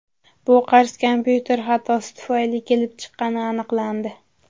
Bu qarz kompyuter xatosi tufayli kelib chiqqani aniqlandi.